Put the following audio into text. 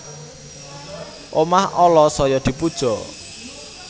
Omah ala saya dipuja